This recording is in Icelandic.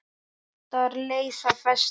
Flotar leysa festar.